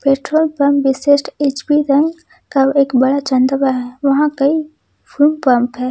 Petrol pump विशिष्ट HP का का एक बड़ा चैन दवा है वहां कई फ्यूल पंप है।